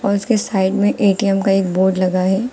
और इसके साइड में ए_टी_एम का एक बोर्ड लगा है।